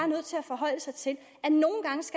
nødt til at forholde sig til